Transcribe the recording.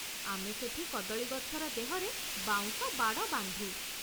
ଆମେ ସେଠି କଦଳୀ ଗଛର ଦେହରେ ବାଉଁଶ ବାଡ଼ ବାନ୍ଧୁ ।